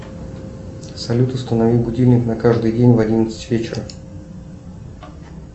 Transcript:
салют установи будильник на каждый день в одиннадцать вечера